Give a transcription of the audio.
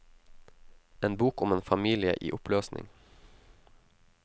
En bok om en familie i oppløsning.